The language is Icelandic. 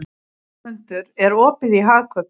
Hermundur, er opið í Hagkaup?